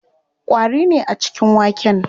Ƙwari ne a cikin waken.